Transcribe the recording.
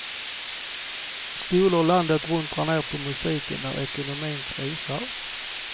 Skolor landet runt drar ned på musiken när ekonomin krisar.